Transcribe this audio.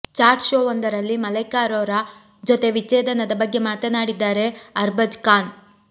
chat ಶೋವೊಂದರಲ್ಲಿ ಮಲೈಕಾ ಅರೋರಾರ ಜೊತೆ ವಿಚ್ಛೇದನದ ಬಗ್ಗೆ ಮಾತನಾಡಿದ್ದಾರೆ ಅರ್ಬಾಜ್ ಖಾನ್